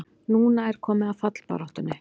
Núna er komið að fallbaráttunni!